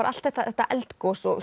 allt þetta eldgos og